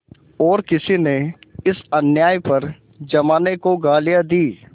और किसी ने इस अन्याय पर जमाने को गालियाँ दीं